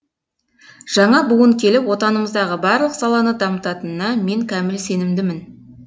жаңа буын келіп отанымыздағы барлық саланы дамытанына мен кәміл сенімдімін